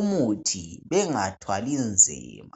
umuthi bengathwali nzima.